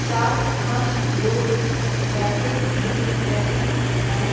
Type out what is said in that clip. चार पांच लोग बैठे दिख रहे हैं।